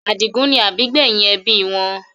Adigun ni àbígbẹ́yìn ẹbí wọn.